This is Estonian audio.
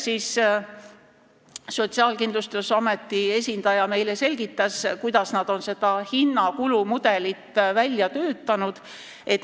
Sotsiaalkindlustusameti esindaja selgitas meile, kuidas nad on selle kulumudeli välja töötanud.